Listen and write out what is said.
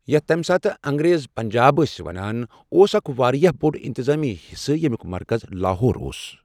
یَتھ تَمہِ ساتہٕ انٛگریز پنٛجاب ٲسۍ وَنان، اوس اَکھ واریاہ بوٚڑ اِنتِظٲمی حصہٕ، ییٚمیُک مرکز لاہور اوس۔